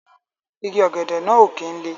Igi ògèdè ó kin lé